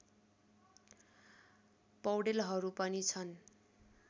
पौडेलहरू पनि छन्